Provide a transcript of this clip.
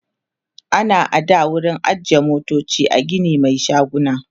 ana ada wurin ajiye motoci a Gini Mai shaguna